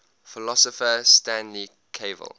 philosopher stanley cavell